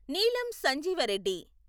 Neelam Sanjiva Reddy